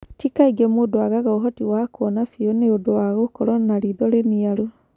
Ti kaingĩ mũndũ aagaga ũhoti wa kuona biũ nĩ ũndũ wa gũkorũo na riitho rĩniaru.